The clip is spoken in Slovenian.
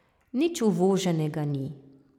Nič uvoženega ni.